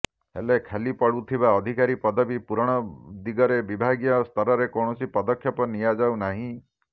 ହେଲେ ଖାଲି ପଡୁଥିବା ଅଧିକାରୀ ପଦବୀ ପୂରଣ ଦିଗରେ ବିଭାଗୀୟ ସ୍ତରରେ କୌଣସି ପଦକ୍ଷେପ ନିଆଯାଉ ନାହିଁ